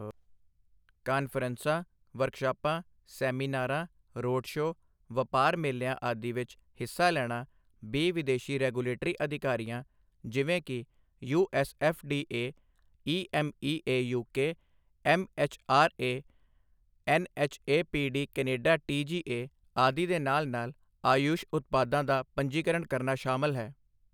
ਕਾਨਫਰੰਸਾਂ, ਵਰਕਸ਼ਾਪਾਂ, ਸੈਮੀਨਾਰਾਂ, road show, ਵਪਾਰ ਮੇਲਿਆਂ ਆਦਿ ਵਿਚ ਹਿੱਸਾ ਲੈਣਾ ਬੀ ਵਿਦੇਸ਼ੀ ਰੈਗੂਲੇਟਰੀ ਅਧਿਕਾਰੀਆਂ, ਜਿਵੇਂ ਕਿ USFDA EMEA UK MHRA, NHAPD Canada TGA, ਆਦਿ ਦੇ ਨਾਲ ਨਾਲ, ਆਯੂਸ਼ ਉਤਪਾਦਾਂ ਦਾ ਪੰਜੀਕਰਨ ਕਰਨਾ ਸ਼ਾਮਲ ਹੈ।